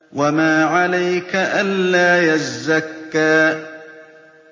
وَمَا عَلَيْكَ أَلَّا يَزَّكَّىٰ